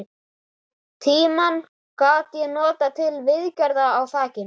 Tímann gat ég notað til viðgerða á þakinu.